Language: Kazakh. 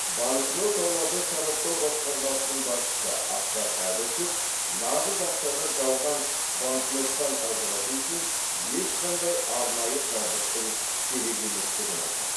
банкноталарды сараптау басқармасының басшысы асхат әбішев нағыз ақшаны жалған банкноттан ажырату үшін ешқандай арнайы жабдықтың керек еместігін айтады